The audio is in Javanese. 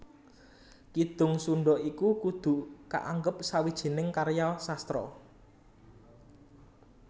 Kidung Sundha iku kudu kaanggep sawijining karya sastra